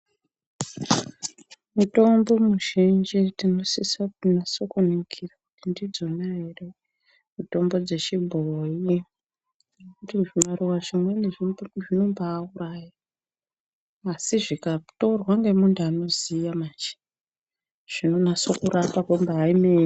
Mitombo muzhinji tinosisa kunaso kuningira kuti ndidzona here mitombo dzechibhoyi ngekuti zvimaruva zvimweni zvinombauraya, asi zvikatorwa nemuntu anoziya manje, zvinonase kurapa kwembaeme..